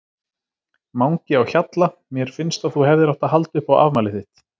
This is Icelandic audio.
Mangi á Hjalla Mér finnst að þú hefðir átt að halda upp á afmælið þitt.